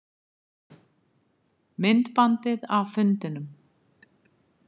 Myndbandið af fundinum